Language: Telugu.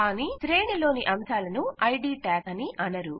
కానీ శ్రేణి లోని అంశాలను ఐడి ట్యాగ్స్ అని అనరు